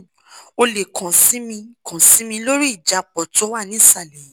o lè kàn sí mi kàn sí mi lórí ìjápọ̀ tó wà nísàlẹ̀ yìí